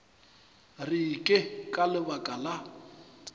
re ke ka lebaka la